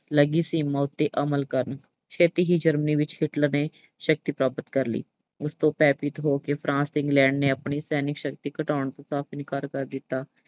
ਲੱਗੀ ਸੀਮਾ ਉੱਤੇ ਅਮਲ ਕਰਨ। ਛੇਤੀ ਹੀ Germany ਵਿੱਚ Hitler ਨੇ ਸ਼ਕਤੀ ਪ੍ਰਾਪਤ ਕਰ ਲਈ। ਉਸ ਤੋਂ ਭੈਅਭੀਤ ਹੋ ਕੇ France ਤੇ England ਨੇ ਆਪਣੀ ਸੈਨਿਕ ਸ਼ਕਤੀ ਘਟਾਉਣ ਤੋਂ ਸਾਫ਼ ਇਨਕਾਰ ਕਰ ਦਿੱਤਾ।